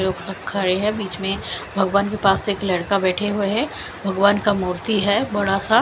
खड़े हैं बीच में भगवान के पास एक लड़का बैठा हुआ है भगवान का मूर्ति है बड़ा सा--